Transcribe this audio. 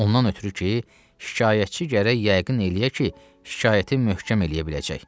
Ondan ötrü ki, şikayətçi gərək yəqin eləyə ki, şikayəti möhkəm eləyə biləcək.